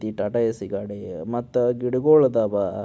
T Tata AC ಗಾಡಿ ಮತ ಗಿಡಗಳು ಅದಾವ.